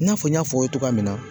I n'a fɔ n y'a fɔ aw ye cogoya min na